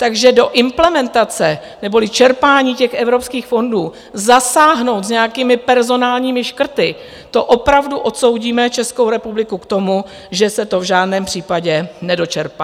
Takže do implementace neboli čerpání těch evropských fondů zasáhnout s nějakými personálními škrty, to opravdu odsoudíme Českou republiku k tomu, že se to v žádném případě nedočerpá.